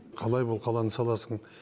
қалай бұл қаланы саласың